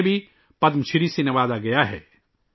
انہیں بھی پدم شری سے نوازا گیا ہے